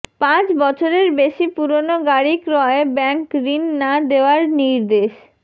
পাঁচ বছরের বেশি পুরনো গাড়ি ক্রয়ে ব্যাংক ঋণ না দেওয়ার নির্দেশ